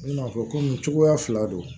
I bina fɔ ko nin cogoya fila don